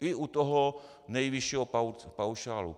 I u toho nejvyššího paušálu.